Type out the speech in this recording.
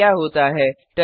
देखें क्या होता है